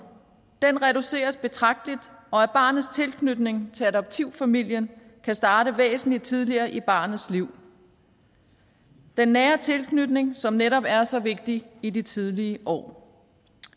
reduceres betragteligt og at barnets tilknytning til adoptivfamilien kan starte væsentlig tidligere i barnets liv den nære tilknytning som netop er så vigtig i de tidlige år